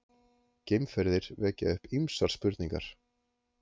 Geimferðir vekja upp ýmsar spurningar!